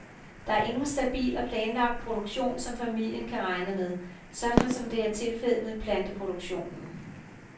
Der er ingen stabil og planlagt produktion, som familien kan regne med, sådan som det er tilfældet med planteproduktionen.